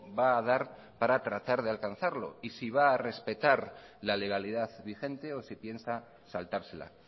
va a dar para tratar de alcanzarlo y si va a respetar la legalidad vigente o si piensa saltársela